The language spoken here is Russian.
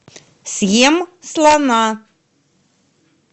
съем слона